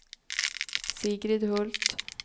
Sigrid Hult